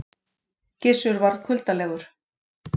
Gizur varð kuldalegur.